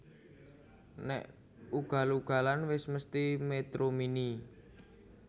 Nek ugal ugalan wes mesthi Metro Mini